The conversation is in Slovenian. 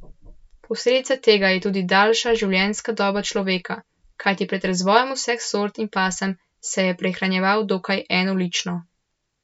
Posledica tega je tudi daljša življenjska doba človeka, kajti pred razvojem vseh sort in pasem se je prehranjeval dokaj enolično.